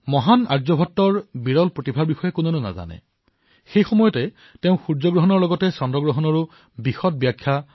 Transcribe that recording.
মহান আৰ্যভট্টৰ প্ৰতিভাৰ বিষয়ে কোনে নাজানে তেওঁ নিজৰ জীৱনকালত সূৰ্যগ্ৰহণৰ সৈতে চন্দ্ৰ গ্ৰহণৰো বিস্তাৰিতভাৱে ব্যাখ্যা কৰিছিল